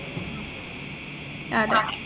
ആഹ് അതെ